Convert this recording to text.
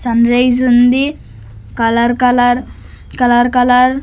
sunrise ఉంది colour colour colour colour --